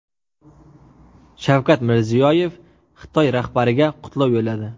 Shavkat Mirziyoyev Xitoy rahbariga qutlov yo‘lladi.